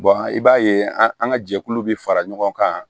i b'a ye an ka jɛkulu bɛ fara ɲɔgɔn kan